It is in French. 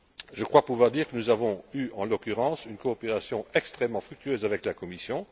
Je crois pouvoir dire que nous avons eu, en l'occurrence, une coopération extrêmement fructueuse avec la Commission.